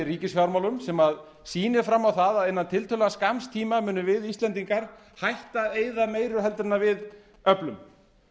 ríkisfjármálum sem sýnir fram á það að innan tiltölulega skamms tíma munum við íslendingar hætta að eyða meiru en við öflum